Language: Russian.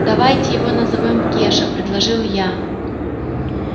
давайте его назовём кеша предложил я